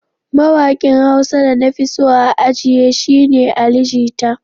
Mawaƙin Hausa da na fi so a jiya shi ne Ali jita.